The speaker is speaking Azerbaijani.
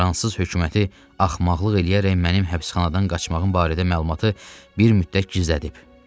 Fransız hökuməti axmaqlıq eləyərək mənim həbsxanadan qaçmağım barədə məlumatı bir müddət gizlədib.